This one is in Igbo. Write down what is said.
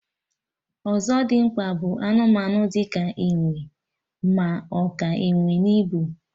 Ọzọdimgba bụ anụmanụ di ka enwe, ma ọ ka enwe n'ibu